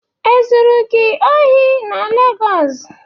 Ezụrụ gị ohị na Legọs?